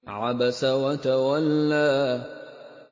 عَبَسَ وَتَوَلَّىٰ